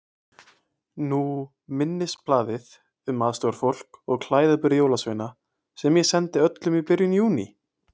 Nú minnisblaðið um aðstoðarfólk og klæðaburð jólasveina sem ég sendi öllum í byrjun Júní.